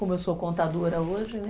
Como eu sou contadora hoje, né?